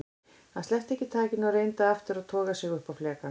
Hann sleppti ekki takinu og reyndi aftur að toga sig upp á flekann.